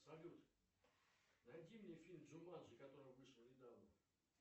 салют найди мне фильм джуманджи который вышел недавно